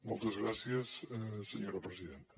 moltes gràcies senyora presidenta